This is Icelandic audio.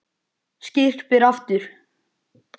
Skyrpir aftur.